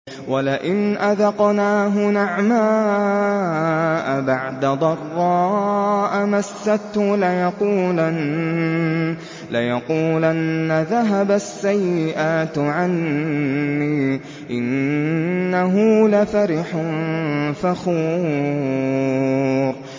وَلَئِنْ أَذَقْنَاهُ نَعْمَاءَ بَعْدَ ضَرَّاءَ مَسَّتْهُ لَيَقُولَنَّ ذَهَبَ السَّيِّئَاتُ عَنِّي ۚ إِنَّهُ لَفَرِحٌ فَخُورٌ